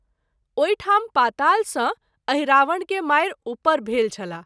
ओहि ठाम पाताल सँ अहिरावण के मारि उपर भेल छलाह।